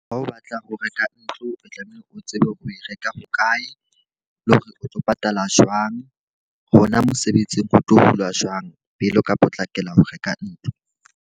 Ha o batla ho reka ntlo, o tlamehile o tsebe hore o e reka hokae, le hore o tlo patala jwang. Hona mosebetsing ho tlo hulwa jwang pele o ka potlakela ho reka ntlo.